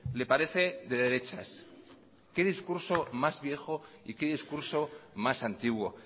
le parece de derechas qué discurso más viejo y qué discurso más antiguo